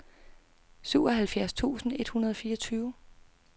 syvoghalvfjerds tusind et hundrede og fireogtyve